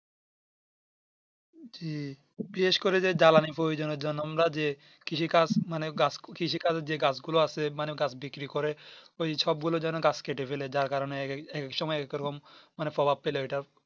জি বিশেষ করে যে জ্বালানি প্রয়ো জনের জন্য আমরা যে কৃষি কাজ মানে কৃষি কাজের যে গাছ গুলো আছে মানে গাছ বিক্রি করে ওই সব গুলো যেন গাছ কেটে ফেলে যার করণে এক্কেক সময় এক্কেক রকম মানে প্রভাব পেলে ঐটার